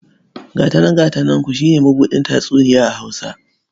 Gata nan gata nanku shi ne mabuɗin tatsuniya a Hausa..